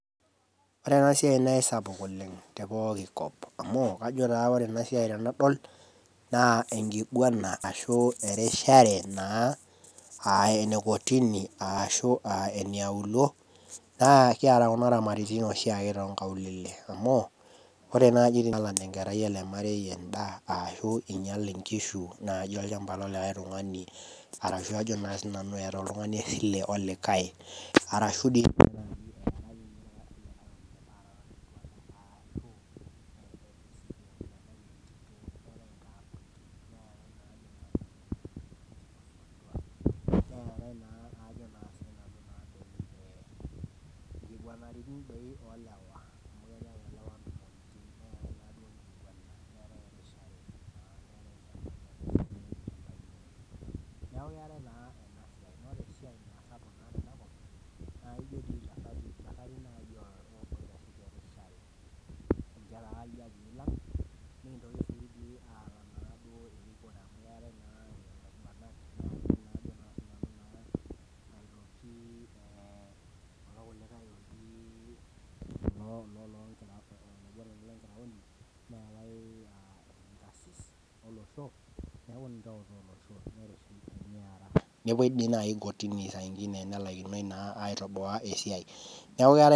Ore ena siai naa esapuk oleng te pooki nkop amuu ajo taa ore ena siai tenadol naa enkiguana ashu erishare naa aa enekotini ashu aa eneaulo, naa kieta kun iramaratin oshiake too inkaulele amu ore naaji tenelak enkerai enaaji endaa ashu einyal inkishu naaji iolchamba le likae tungani arashu ajo naa sii nanu eeta oltungani esilie olikae, neaku keate naa ena siai aa esapuk te nkopang